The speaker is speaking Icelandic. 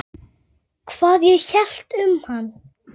Hvað ég hélt um hann?